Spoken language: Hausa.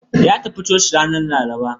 Ya tafi coci ranar Laraba.